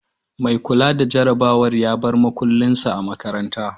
Mai kula da jarabawar ya bar makulin sa a makarana